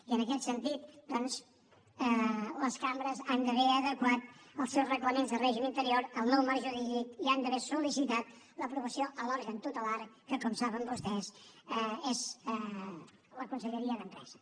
i en aquest sentit doncs les cambres han d’haver adequat els seus reglaments de règim interior al nou marc jurídic i han d’haver sol·licitat l’aprovació a l’òrgan tutelar que com saben vostès és la conselleria d’empresa